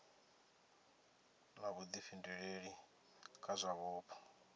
na vhuḓifhinduleli kha zwa vhupo